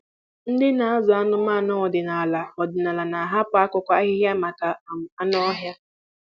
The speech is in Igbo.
Ndị na-azụ anụmanụ ọdịnala ọdịnala na-ahapụ akụkụ ahịhịa maka um anụ ọhịa.